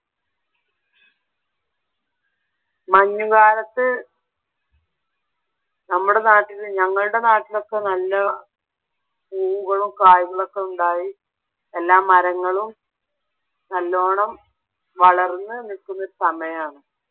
മഞ്ഞുകാലത്ത് നമ്മടെ നാട്ടില്‍ ഞങ്ങളുടെ നാട്ടിലൊക്കെ നല്ല പൂവുകളും കായികളൊക്കെ ഉണ്ടായി എല്ലാ മരങ്ങളും നല്ലോണം വളർന്നു നിൽക്കുന്ന ഒരു സമയമാണ്